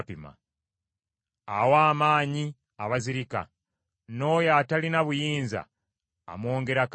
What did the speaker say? Awa amaanyi abazirika, n’oyo atalina buyinza amwongerako amaanyi.